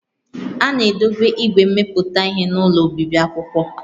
A na-edobe igwe mmepụta ihe n'ụlọ obibi akwụkwọ